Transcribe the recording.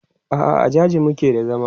a'a a jaji muke da zama